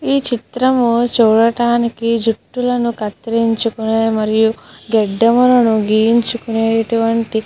ఈ చిత్రం చూడటానికి జుట్టులను కత్తిరించుకునే మరియు గడ్డం గీయించుకునేటువంటి --